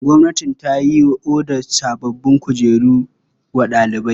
Gwamnati ta yi odar sabbin kujeru wa ɗalibai.